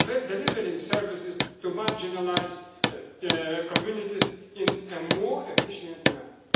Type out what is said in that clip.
in delivering services to marginalised communities in a more efficient